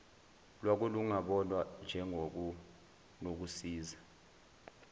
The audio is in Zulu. lwako kungabonwa njengokunokusiza